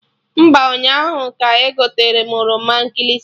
Mba, ụnyaahụ ka egoterem oroma nkịlịsị